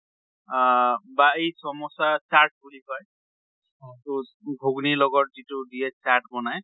বা এই চমচা চাত বুলি কয় তʼ ঘুগুনীৰ লগত যিটো দিয়ে চাত বনাই